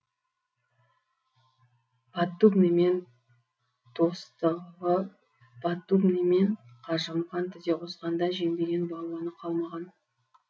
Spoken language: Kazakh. поддубныи мен достығы поддубный мен қажымұқан тізе қосқанда жеңбеген балуаны қалмаған